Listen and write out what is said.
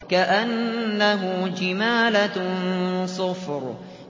كَأَنَّهُ جِمَالَتٌ صُفْرٌ